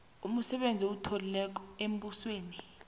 umsebenzi othileko embusweni